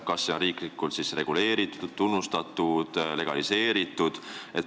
Kas see on siis riiklikult reguleeritud, tunnustatud, legaliseeritud?